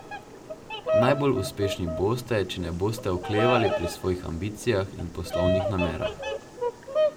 Najbolj uspešni boste če ne boste oklevali pri svojih ambicijah in poslovnih namerah.